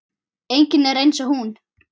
Enginn er eins og hún.